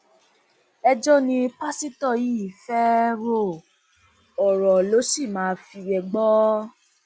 ẹjọ ni pásítọ yìí fẹẹ ro ọrọ ló sì máa fi gbọ